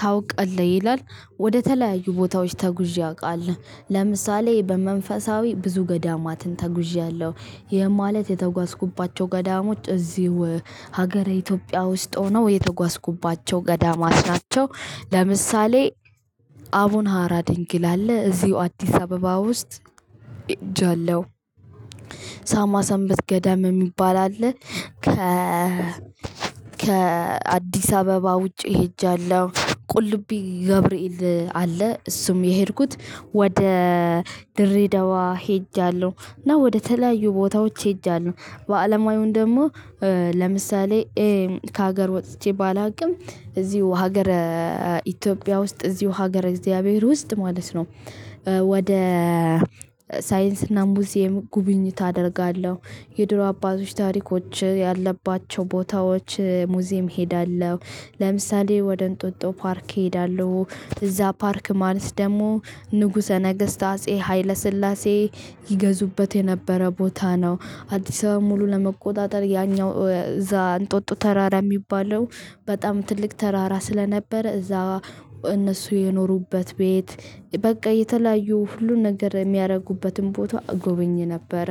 ታውቃለህ? ይላል ወደተለያዩ ቦታዎች ተጉዤ አቃለው ለምሳሌ በመንፈሳዊ ብዙ ገዳማትን ተጉዣለሁ ይህም ማለት የተጓዝኩባቸው ገዳሞች እዚሁ ሀገረ ኢትዮጵያ ውስጥ ሆነው የተጓዝኩባቸው ገዳማት ናቸው ለምሳሌ አቡነሀራ ድንግል አለ እዚሁ አዲስ አበባ ውስጥ ሄ ጃለው ሳማ ሰምበት ገዳም የሚባል አለ። ከአዲስ አበባ ውጪ ሄጃለሁ ቁልቢ ገብርኤል አለ እሱም የሄድኩት ወደ ድሬደዋ ሄጃለሁ እና ወደተለያዩ ቦታዎች ሄጃለሁ በአለማዊውን ደሞ ለምሳሌ ከሃገር ወጥቼ ባላቅም እዚሁ ሃገረ ኢቲዮፒያ ውስጥ እዚሁ ሃገረ እግዚአብሔር ውስጥ ማለት ነው። ወደ ሳይንስና ሙዚየም ጉብኝት አደርጋለሁ የድሮ አባቶች ታሪኮች ያለባቸው ቦታዎች ሙዚየም ሄዳለሁ። ለምሳሌ ወደ እንጦጦ ፓርክ ሄዳለሁ። እዛ ፓርክ ማለት ደሞ ንጉሰ ነገስት አጼ ሃይለስላሴ ይገዙበት የነበረ ቦታ ነው። አዲሳባ ሙሉ ለመቆጣጠር ያኛው እዛ እንጦጦ ተራራ ሚባለው በጣም ትልቅ ተራራ ስለነበረ እነሱ የኖሩበት ቤት በቃ የተለያዩ ሁሉን ነገር የሚያረጉበትን ቦታ እጎበኝ ነበረ